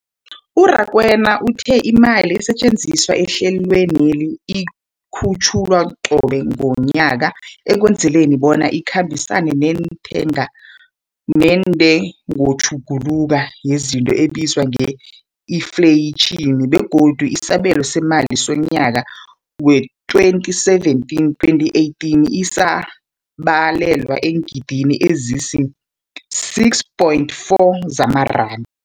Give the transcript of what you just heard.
U-Rakwena uthe imali esetjenziswa ehlelweneli ikhutjhulwa qobe ngomnyaka ukwenzela bona ikhambisane nentengotjhuguluko yezinto ebizwa nge-infleyitjhini, begodu isabelo seemali somnyaka we-2017, 2018 sibalelwa eengidigidini ezisi-6.4 zamaranda.